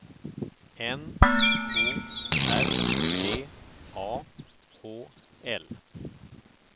N O R D A H L